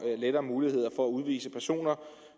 lettere muligheder for at udvise personer